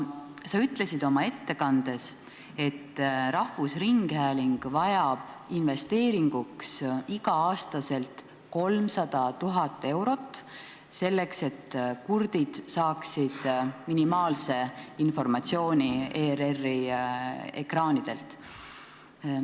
Sa ütlesid oma ettekandes, et rahvusringhääling vajab investeeringuks iga aasta 300 000 eurot, selleks et kurdid saaksid minimaalse informatsiooni ERR-i ekraanidelt.